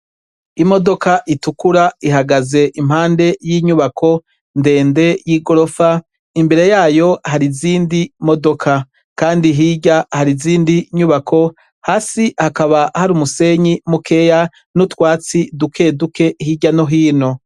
Imodoka itukura ihagaze impande y'inyubako ndende y'i gorofa imbere yayo hari izindi modoka, kandi hirya hari izindi nyubako hasi hakaba hari umusenyi mukeya n'utwatsi duke duke hirya no hino.